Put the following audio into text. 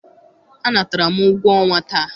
anatara m ụgwọ ọnwa taa.